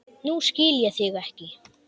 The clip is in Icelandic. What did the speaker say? Nú skil ég þig ekki.